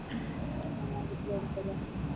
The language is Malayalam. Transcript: എന്ന പിന്നെ degree എടുക്കാല്ലേ